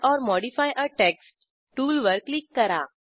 add or modify a text टूलवर क्लिक करा